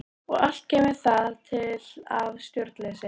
Og allt kemur það til af stjórnleysi.